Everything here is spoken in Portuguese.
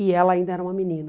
E ela ainda era uma menina.